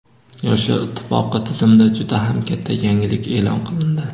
Yoshlar ittifoqi tizimida juda ham katta yangilik e’lon qilindi.